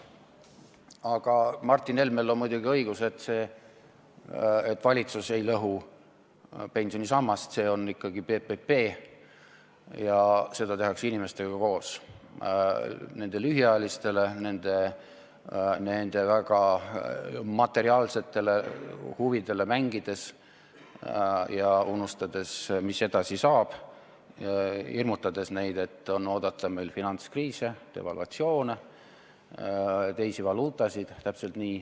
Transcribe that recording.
Aga Martin Helmel on muidugi õigus, valitsus ei lõhu pensionisammast, see on ikkagi PPP ja seda tehakse inimestega koos nende lühiajalistele väga materiaalsetele huvidele mängides ja unustades, mis edasi saab, hirmutades neid, et on oodata finantskriise, devalvatsioone, teisi valuutasid .